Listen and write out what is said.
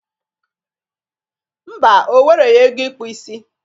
Mba, o wereghi ego ịkpụ isi.